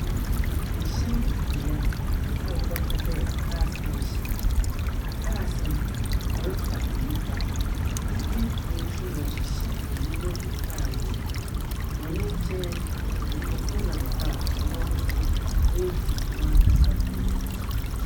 Ɛhyɛnbea a wɔbeka dɛ car station. Cars no refa nnipa. Nnipa abien wɔrehyɛhyɛ nnyɛma agu cr no mu. Hɔn nkyɛn nkrofo nam hɔ hɔ woredzi wɔn ankasa hɔn hɔn adwuma.